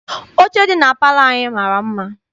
Oche dị na palọ anyị mara mma.